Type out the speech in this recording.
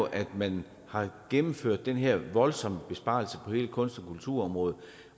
at man har gennemført den her voldsomme besparelse på hele kunst og kulturområdet